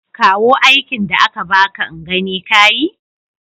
Kawo aikin da aka baka in gani ka yi.